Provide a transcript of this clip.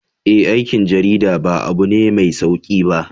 Eh, aikin jarida ba abu ne mai sauki ba.